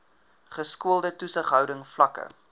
geskoolde toesighouding vlakke